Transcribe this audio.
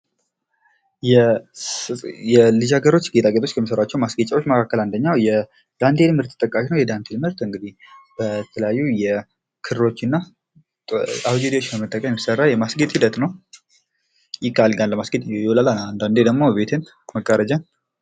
የማስጌጥ ዓይነቶች እንደየቦታውና እንደ አላማው የሚለያዩ ሲሆን የቤት ውስጥ፣ የውጭና የዝግጅት ማስጌጥ ይጠቀሳሉ።